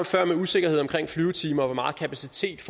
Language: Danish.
før med usikkerhed omkring flyvetimer og hvor meget kapacitet